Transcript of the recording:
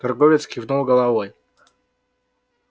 торговец кивнул головой